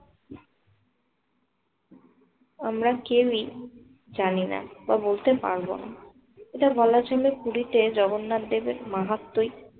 আমরা কেউই জানিনা বা বলতে পারবো না। এটা বলার জন্য পুরীতে জগন্নাথ দেবের মাহাত্মই